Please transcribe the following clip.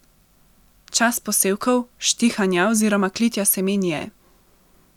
Čas posevkov, štihanja oziroma klitja semen je.